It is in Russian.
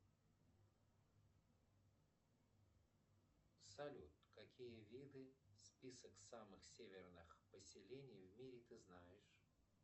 салют какие виды список самых северных поселений в мире ты знаешь